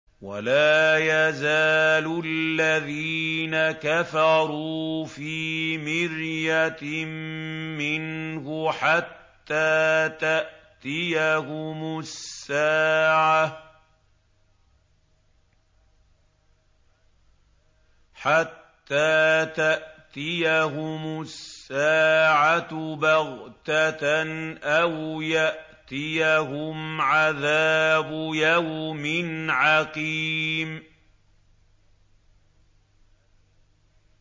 وَلَا يَزَالُ الَّذِينَ كَفَرُوا فِي مِرْيَةٍ مِّنْهُ حَتَّىٰ تَأْتِيَهُمُ السَّاعَةُ بَغْتَةً أَوْ يَأْتِيَهُمْ عَذَابُ يَوْمٍ عَقِيمٍ